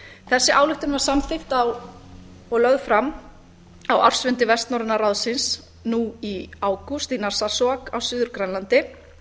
þessi ályktun var samþykkt og lögð fram á ársfundi vestnorræna ráðsins nú í ágúst í narsarsuaq á suður grænlandi